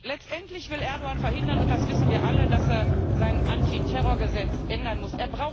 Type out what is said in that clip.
Letztendlich will Erdoğan verhindern und das wissen wir alle dass er sein Antiterrorgesetz ändern muss.